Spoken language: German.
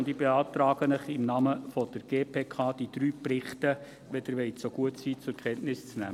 Ich beantrage Ihnen im Namen der GPK, die drei Berichte zur Kenntnis zu nehmen.